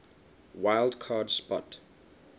wild card spot